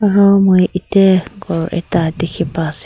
aru moi ete gour ekta dekhi pa ase.